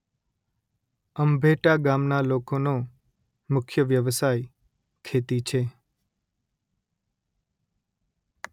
અંભેટા ગામના લોકોનો મુખ્ય વ્યવસાય ખેતી છે